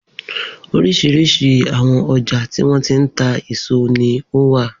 Oríṣiríṣi àwọn ọjà tí wọ́n ti ń ta èso ni ó wà.